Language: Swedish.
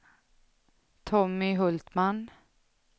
Tommy Hultman